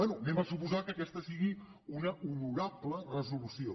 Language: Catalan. anem a suposar que aquesta sigui una honorable resolució